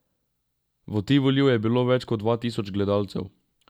V Tivoliju je bilo več kot dva tisoč gledalcev.